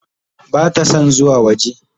Bata son zuwa waje.